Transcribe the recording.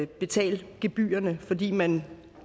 betale gebyrerne fordi man